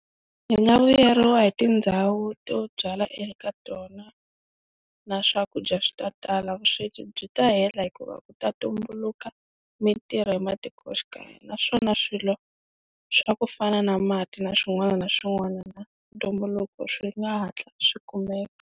Hi nga vuyeriwa hi tindhawu to byala eka tona na swakudya swi ta tala vusweti byi ta hela hikuva ku ta tumbuluka mintirho ematikoxikaya, naswona swilo swa ku fana na mati na swin'wana na swin'wana na ntumbuluko swi nga hatla swi kumeka.